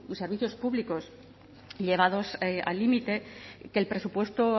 servicios públicos llegados al límite que el presupuesto